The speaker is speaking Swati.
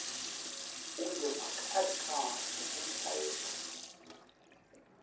ungevakali kahle umlayeto